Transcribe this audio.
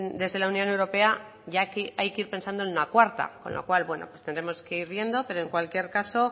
desde la unión europea ya hay que ir pensando en una cuarta con lo cual bueno pues tendremos que ir viendo pero en cualquier caso